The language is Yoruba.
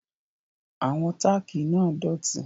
Àwọn tákì náà dọ̀tí